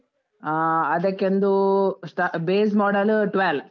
ಆ ಅದಕ್ಕೆ ಒಂದು, ಸ್ಟಾ base model twelve .